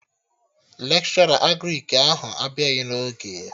Lekshọra Agrịk ahụ abịaghị n'oge